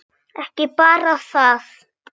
Ekki bara það.